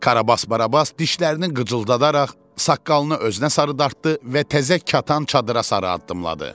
Karabas Barabas dişlərini qıcıldadaraq saqqalını özünə sarı dartdı və təzə katan çadıra sarı addımladı.